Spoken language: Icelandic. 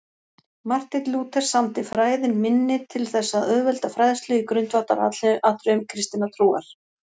Marteinn Lúther samdi Fræðin minni til þess að auðvelda fræðslu í grundvallaratriðum kristinnar trúar.